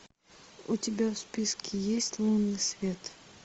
у тебя в списке есть лунный свет